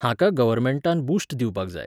हाका गव्हर्मेंटान बूस्ट दिवपाक जाय.